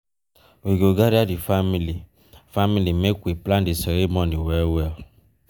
we go gather di family family make we plan di ceremony well-well.